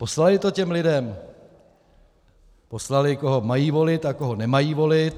Poslali to těm lidem, poslali, koho mají volit a koho nemají volit.